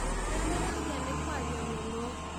Nĩ anogagia nĩ kũaria mũno.